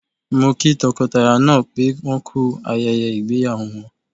Mo kí tọkọtaya náà pé wọ́n ku ayẹyẹ ìgbéyàwó wọn.